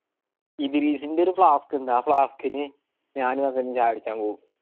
ഇതിൻറെ flasck ഇണ്ട ആ flasck ഇൻ ഞാനും ചായ കുടിക്കാൻ പോകും